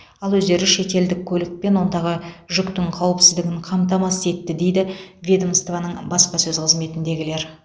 ал өздері шетелдік көлік пен онтағы жүктің қауіпсіздігін қамтамасыз етті дейді ведомствоның баспасөз қызметіндегілер